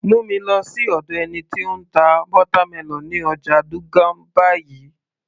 Mú mi lọ sí ọ̀dọ̀ ẹni tí ó ń ta watermelon ní ọjà Dugan báyìí